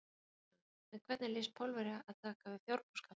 Kristján: En hvernig lýst Pólverja að taka við fjárbúskap?